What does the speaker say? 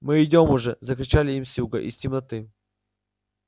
мы идём уже закричали им с юга из темноты